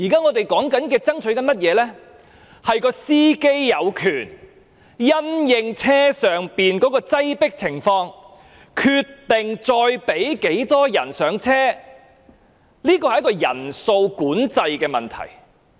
我們目前爭取的，是"司機"有權因應巴士的擠迫情況，決定再讓多少人上車，這是一個人數管制的問題。